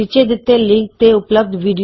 ਨੀਚੇ ਦਿੱਤੇ ਲਿੰਕ ਤੇ ਉਪਲਭਦ ਵੀਡੀਓ ਵੇਖੋ